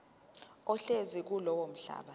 ohlezi kulowo mhlaba